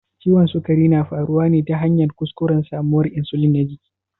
Ciwon sukari na faruwa ne ta hanyar kuskuren samawar insulin na jiki.